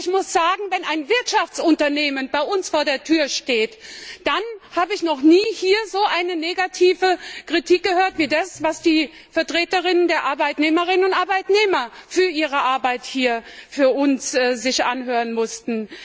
Also ich muss sagen, wenn ein Wirtschaftsunternehmen bei uns vor der Tür steht, dann habe ich hier noch nie so eine negative Kritik gehört, wie sich das heute die Vertreterinnen der Arbeitnehmerinnen und Arbeitnehmer für ihre Arbeit hier für uns anhören mussten.